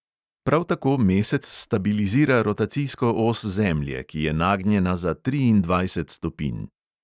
Prav tako mesec stabilizira rotacijsko os zemlje, ki je nagnjena za triindvajset stopinj.